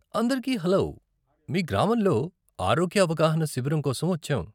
అందరికీ హలో, మీ గ్రామంలో ఆరోగ్య అవగాహన శిబిరం కోసం వచ్చాం.